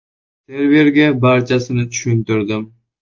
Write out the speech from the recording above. Serverga barchasini tushuntirdim.